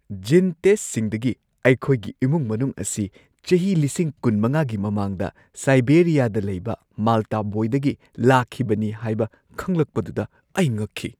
ꯖꯤꯟ ꯇꯦꯁꯠꯁꯤꯡꯗꯒꯤ ꯑꯩꯈꯣꯏꯒꯤ ꯏꯃꯨꯡ-ꯃꯅꯨꯡ ꯑꯁꯤ ꯆꯍꯤ ꯲꯵꯰꯰꯰ꯒꯤ ꯃꯃꯥꯡꯗ ꯁꯥꯏꯕꯦꯔꯤꯌꯥꯗ ꯂꯩꯕ ꯃꯥꯜꯇꯥ ꯕꯣꯏꯗꯒꯤ ꯂꯥꯛꯈꯤꯕꯅꯤ ꯍꯥꯏꯕ ꯈꯪꯂꯛꯄꯗꯨꯗ ꯑꯩ ꯉꯛꯈꯤ ꯫